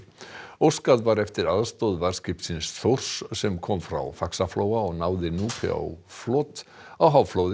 óskað var eftir aðstoð varðskipsins Þórs sem kom frá Faxaflóa og náði Núpi á flot á